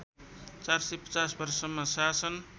४५० वर्षसम्म शासन